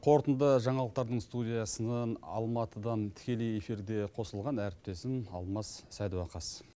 қорытынды жаңалықтардың студиясына алматыдан тікелей эфирде қосылған әріптесім алмас садуақас